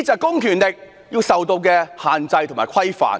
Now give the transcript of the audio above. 公權力要受到限制和規範。